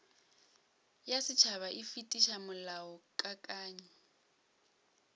ya setšhaba e fetiša molaokakanywa